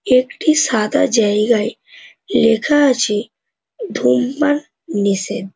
একটি সাদা জায়গায় লেখা আছে ধূমপান নিষেধ।